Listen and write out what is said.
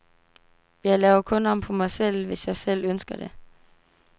Jeg laver kun om på mig selv, hvis jeg selv ønsker det.